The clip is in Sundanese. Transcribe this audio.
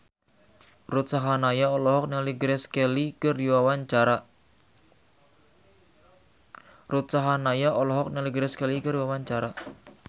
Ruth Sahanaya olohok ningali Grace Kelly keur diwawancara